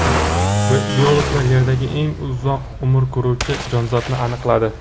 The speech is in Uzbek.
Biologlar Yerdagi eng uzoq umr ko‘ruvchi jonzotni aniqladi.